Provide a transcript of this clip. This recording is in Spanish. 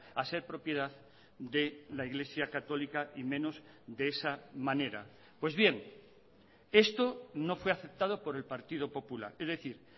a ser propiedad de la iglesia católica y menos de esa manera pues bien esto no fue aceptado por el partido popular es decir